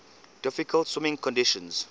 difficult swimming conditions